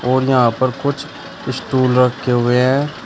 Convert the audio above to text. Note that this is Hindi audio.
और यहां पर कुछ स्टूल रखे हुए हैं।